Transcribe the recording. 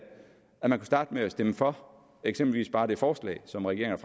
kunne starte med at stemme for eksempelvis bare det forslag som regeringen